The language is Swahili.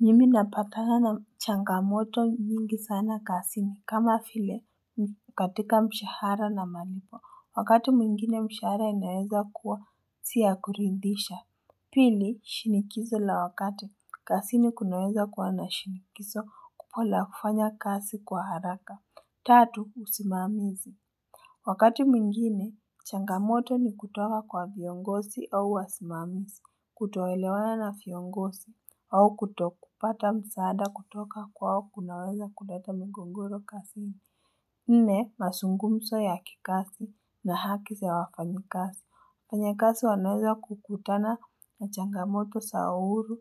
Mimi napatana na changamoto nyingi sana kazini kama vile katika mshahara na malipo wakati mwingine mshahara inaeza kuwa si ya kuridhisha Pili shinikizo la wakati kazini kunaweza kuwa na shinikizo kubwa la kufanya kazi kwa haraka Tatu usimamizi Wakati mwingine, changamoto ni kutoka kwa viongozi au wasimamizi, kutoelewana na viongozi, au kutokupata msaada kutoka kwao kunaweza kuleta migogoro kazini. Nne, mazungumzo ya kikazi na haki za wafanyikazi. Wafanyikazi wanaweza kukutana na changamoto za uhuru